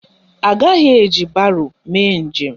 Agaghị eji baro mee njem